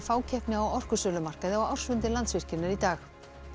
fákeppni á orkusölumarkaði á ársfundi Landsvirkjunar í dag